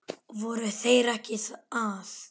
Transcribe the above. Voru þeir ekki að?